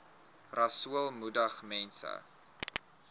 rasool moedig mense